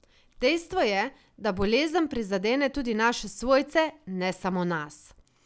Dejstvo je, da bolezen prizadene tudi naše svojce, ne samo nas.